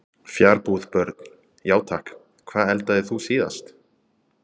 Fjarbúð Börn: Já takk Hvað eldaðir þú síðast?